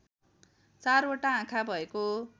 चारवटा आँखा भएको